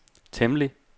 temmelig